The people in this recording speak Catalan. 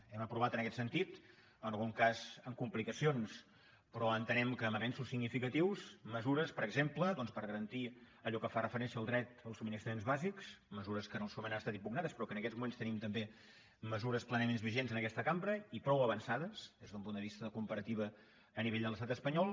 hem aprovat en aquest sentit en algun cas amb complicacions però entenem que amb avenços significatius mesures per exemple doncs per garantir allò que fa referència al dret als subministraments bàsics mesures que en el seu moment han estat impugnades però que en aquests moments tenim també mesures plenament vigents en aquesta cambra i prou avançades des d’un punt de vista de comparativa a nivell de l’estat espanyol